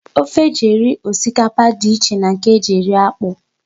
Ofe e ji eri osikapa dị iche na nke e ji eri akpụ.